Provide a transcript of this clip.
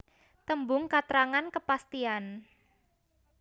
Tembung katrangan kepastian